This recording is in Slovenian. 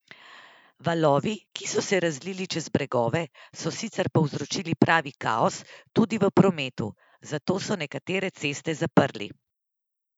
Valovi, ki so se razlili čez bregove, so sicer povzročili pravi kaos tudi v prometu, zato so nekatere ceste zaprli.